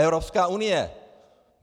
Evropská unie!